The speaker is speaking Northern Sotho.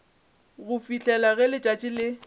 go fihlela ge letšatši le